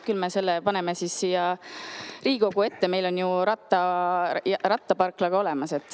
Küll me selle paneme siia Riigikogu ette, rattaparkla meil on olemas.